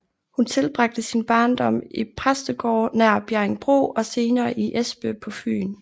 Hun tilbragte sin barndom i præstegårde nær Bjerringbro og senere i Espe på Fyn